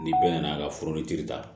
Ni bɛɛ nana ka furu ni kiiri ta